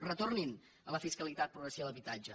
retornin a la fiscalitat progressiva a l’habitatge